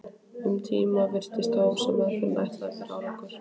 Um tíma virtist þó sem meðferðin ætlaði að bera árangur.